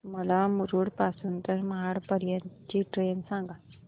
मला मुरुड पासून तर महाड पर्यंत ची ट्रेन सांगा